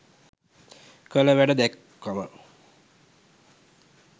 කල වැඩ දැක්කම